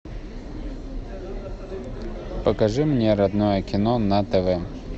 покажи мне родное кино на тв